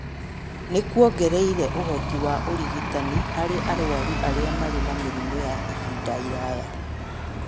nĩ kuongereire ũhoti wa ũrigitani harĩ arwaru arĩa marĩ na mĩrimũ ya ihinda iraya.